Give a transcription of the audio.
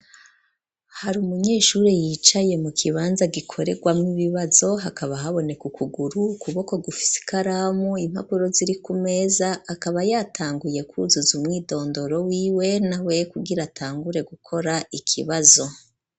Hari umunyeshuri yicaye mu kibanza gikorerwamwo ibibazo hakaba haboneka ukuguru ukuboko gufise ikaramu impapuro ziri ku meza akaba yatanguye kuzuza umwidondoro wiwe nawe kugira atangure gukora ikibazo.